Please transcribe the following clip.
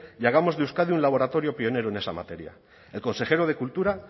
y hagamos de euskadi un laboratorio pionero en esa materia el consejero de cultura